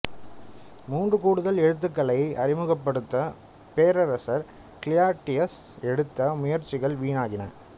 மூன்று கூடுதல் எழுத்துக்களை அறிமுகப்படுத்த பேரரசர் கிளாடியஸ் எடுத்த முயற்சிகள் வீணாகின